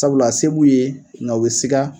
Sabula se b'u ye nga u bɛ siga.